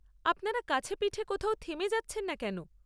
আপনারা কাছেপিঠে কোথাও থেমে যাচ্ছেন না কেন?